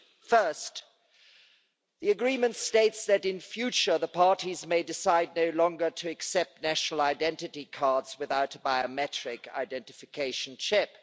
First, the agreement states that in future, the parties may decide no longer to accept national identity cards without a biometric identification chip.